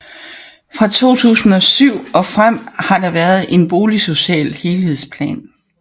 Fra 2007 og frem har der været en boligsocial helhedsplan